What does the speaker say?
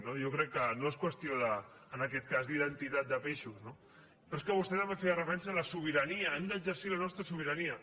jo crec que no és qüestió en aquest cas d’identitat de peixos no però és que vostè també feia referència a la sobirania hem d’exercir la nostra sobirania